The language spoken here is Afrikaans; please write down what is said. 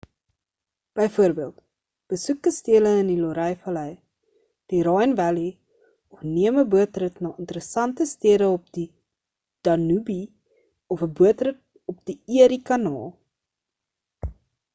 byvoorbeeld besoek kastele in die loire vallei die rhine vallei of neem 'n bootrit na interessante stede op die danube of 'n bootrit op die erie kanaal